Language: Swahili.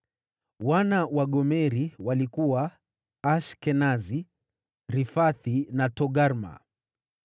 Wana wa Gomeri walikuwa: Ashkenazi, Rifathi na Togarma.